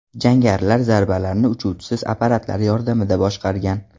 Jangarilar zarbalarni uchuvchisiz apparatlar yordamida boshqargan.